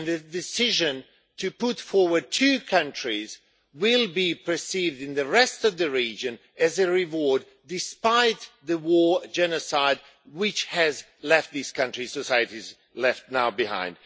The decision to put forward two countries will be perceived in the rest of the region as a reward, despite the war and genocide which these countries' societies have now left behind.